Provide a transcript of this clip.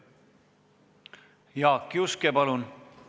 Jaak Juske, palun!